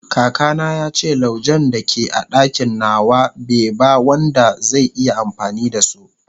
kaka na yace laujen da ke a dakin nawa be ba Wanda zai iya amfani da so